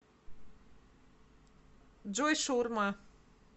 джой шаурма